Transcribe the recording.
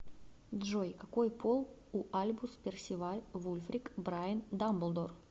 джой какой пол у альбус персиваль вульфрик брайан дамблдор